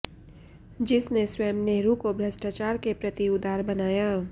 जिस ने स्वयं नेहरू को भ्रष्टाचार के प्रति उदार बनाया